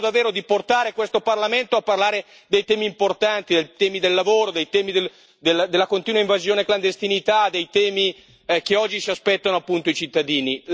Mi auguro davvero di portare questo Parlamento a parlare dei temi importanti, dei temi del lavoro, dei temi della continua invasione della clandestinità, dei temi che oggi si aspettano appunto i cittadini.